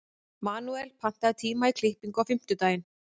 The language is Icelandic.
Manuel, pantaðu tíma í klippingu á fimmtudaginn.